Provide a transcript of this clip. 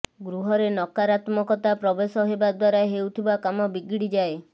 ଗୃହରେ ନକାରାତ୍ମକତା ପ୍ରବେଶ ହେବା ଦ୍ୱାରା ହେଉଥିବା କାମ ବିଗଡି ଯାଏ